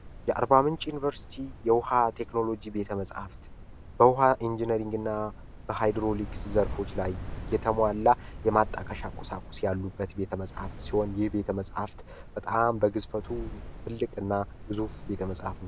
የ4ር0ምንጭ ዩኒቨርሲቲ የውሃ ቴክኖሎጂ ቤተመጽሕፍት በውሃ ኢንጂነሪንግ እና በሃይድሮሊክስ ዘርፎች ላይ የተማላ የማጣቃሽ አቁሳቁስ ያሉበት ቤተ መጽፍት ሲሆን ይህ ቤተ መጽሀፍት በጣም በግዝፈቱ ትልቅ እና ጉዙፉ ቤተ መጽሕፍ